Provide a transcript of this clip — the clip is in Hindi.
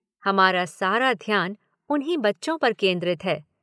हमारा सारा ध्यान उन्हीं बच्चों पर केन्द्रित है।